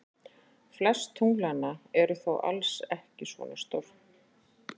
Flest tunglanna eru þó alls ekki svona stór.